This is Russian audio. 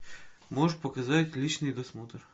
можешь показать личный досмотр